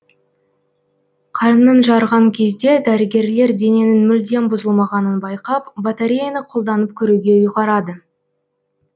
қарнын жарған кезде дәрігерлер дененің мүлдем бұзылмағанын байқап батареяны қолданып көруге ұйғарады